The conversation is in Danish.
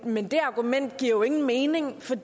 men det argument giver jo ingen mening for